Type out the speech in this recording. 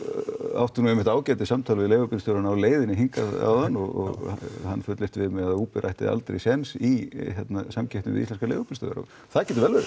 átti nú ágætis samtal við leigubílstjórann á leiðinni hingað áðan og hann fullyrti við mig að Uber ætti aldrei séns í hérna samkeppni við íslenska leigubílstjóra og það getur vel verið